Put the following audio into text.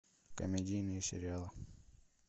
комедийные сериалы